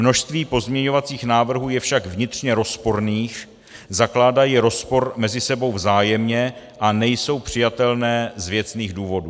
Množství pozměňovacích návrhů je však vnitřně rozporných, zakládají rozpor mezi sebou vzájemně a nejsou přijatelné z věcných důvodů.